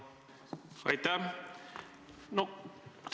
Aitäh!